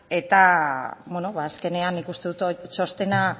eta beno azkenean nik uste dut txostena